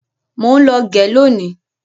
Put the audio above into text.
Mọ ń lọ gẹ lónìí.